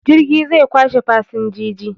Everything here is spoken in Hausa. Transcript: Jirgi zai kwashe fasinjiji